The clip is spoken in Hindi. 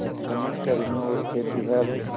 खनन कर्मियों और खेतिहर